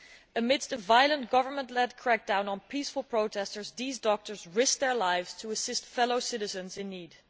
Amidst a violent government led crackdown on peaceful protesters these doctors risked their lives to assist fellow citizens in need.